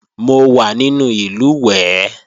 Mo wà nínú ìlùwẹ̀ẹ̀